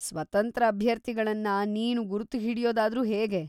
ಸ್ವತಂತ್ರ ಅಭ್ಯರ್ಥಿಗಳನ್ನ ನೀನು ಗುರ್ತು ಹಿಡ್ಯೋದಾದ್ರೂ ಹೇಗೆ?